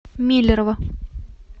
миллерово